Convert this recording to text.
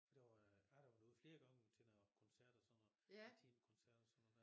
For det var jeg har været derude flere gang til noget koncert og sådan noget intimkoncerter og sådan noget der